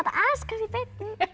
aðeins beinna